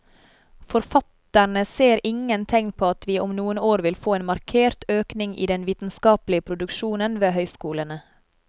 Forfatterne ser ingen tegn på at vi om noen år vil få en markert økning i den vitenskapelige produksjon ved høyskolene.